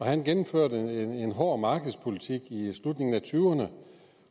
han gennemførte en hård markedspolitik i slutningen af nitten tyverne